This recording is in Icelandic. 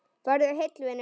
Farðu heill, vinur.